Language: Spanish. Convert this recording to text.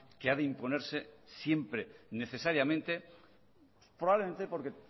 que ha de imponerse siempre necesariamente probablemente porque